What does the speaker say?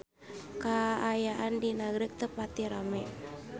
Kaayaan di Nagreg teu pati rame